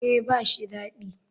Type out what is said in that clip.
Eh ba shi dadi.